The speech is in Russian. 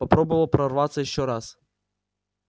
попробовал прорваться ещё раз